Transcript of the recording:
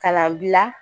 Ka na gilan